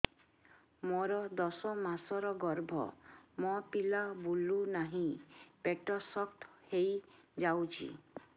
ମୋର ଦଶ ମାସର ଗର୍ଭ ମୋ ପିଲା ବୁଲୁ ନାହିଁ ପେଟ ଶକ୍ତ ହେଇଯାଉଛି